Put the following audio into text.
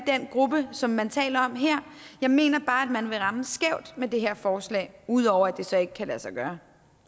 den gruppe som man taler om her jeg mener bare at man vil ramme skævt med det her forslag udover at det så ikke kan lade sig gøre